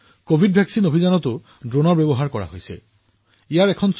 covid প্ৰতিষেধক অভিযানত ড্ৰোনেও ভূমিকা পালন কৰি আহিছে